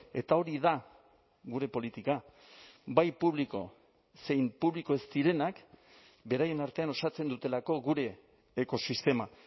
eta hori da gure politika bai publiko zein publiko ez direnak beraien artean osatzen dutelako gure ekosistema